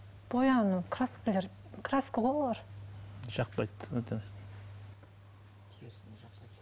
бояну краскілер краска ғой олар жақпайды өте